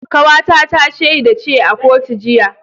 Kawata ta shaida ce a kotu jiya